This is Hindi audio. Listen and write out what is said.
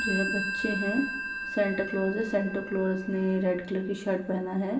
जो है बच्चे हैं। सैंटा क्लौज है। सैंटा क्लौस ने रेड कलर की शर्ट पहना है।